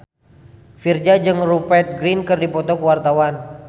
Virzha jeung Rupert Grin keur dipoto ku wartawan